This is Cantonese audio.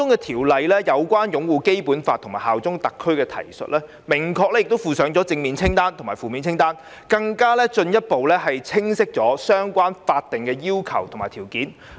《條例草案》就有關擁護《基本法》及效忠特區的提述，明確附上正面清單及負面清單，進一步清晰相關的法定要求及條件。